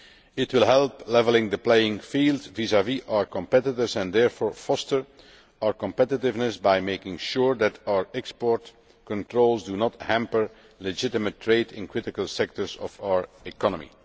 It will help level the playing field vis vis our competitors and therefore foster our competitiveness by making sure that our export controls do not hamper legitimate trade in critical sectors of our economy.